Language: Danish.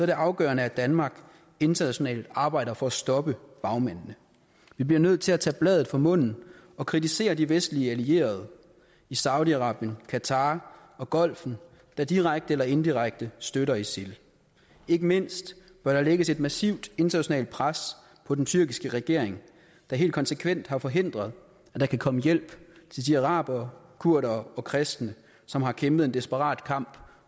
det afgørende at danmark internationalt arbejder for at stoppe bagmændene vi bliver nødt til at tage bladet fra munden og kritisere de vestlige allierede i saudi arabien qatar og golfen der direkte eller indirekte støtter isil ikke mindst bør der lægges et massivt internationalt pres på den tyrkiske regering der helt konsekvent har forhindret at der kan komme hjælp til de arabere kurdere og kristne som har kæmpet en desperat kamp